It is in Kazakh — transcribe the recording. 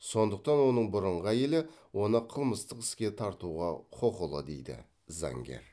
сондықтан оның бұрынғы әйелі оны қылмыстық іске тартуға құқылы дейді заңгер